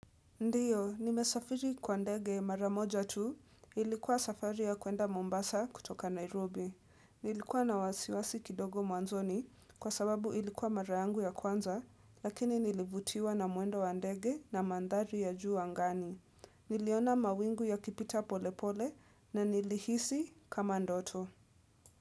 Ndiyo, nimesafiri kwa ndege mara moja tu, ilikuwa safari ya kuenda Mombasa kutoka Nairobi. Nilikuwa na wasiwasi kidogo mwanzoni kwa sababu ilikuwa mara yangu ya kwanza, lakini nilivutiwa na mwendo wa ndege na mandhari ya juu angani. Niliona mawingu yakipita pole pole na nilihisi kama ndoto.